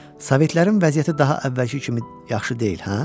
Sovetlərin vəziyyəti daha əvvəlki kimi yaxşı deyil, hə?